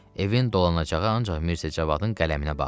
Evin dolanacağı ancaq Mirzəcavadın qələminə bağlı idi.